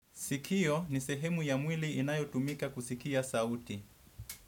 Sikio ni sehemu ya mwili inayotumika kusikia sauti.